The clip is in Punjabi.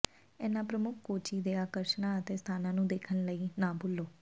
ਇਨ੍ਹਾਂ ਪ੍ਰਮੁੱਖ ਕੋਚੀ ਦੇ ਆਕਰਸ਼ਣਾਂ ਅਤੇ ਸਥਾਨਾਂ ਨੂੰ ਦੇਖਣ ਲਈ ਨਾ ਭੁੱਲੋ